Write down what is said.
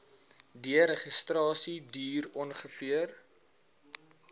deregistrasie duur ongeveer